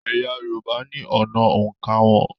Ẹ̀yà Yorùbá ní ọ̀nà òǹkà wọn